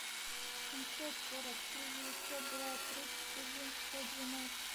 семьсот сорок три девятьсот два тридцать один сто двенадцать